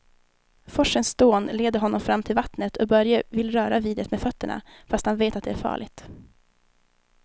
Forsens dån leder honom fram till vattnet och Börje vill röra vid det med fötterna, fast han vet att det är farligt.